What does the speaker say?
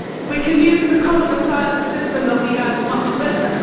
We can use the Common European Asylum System that we have much better.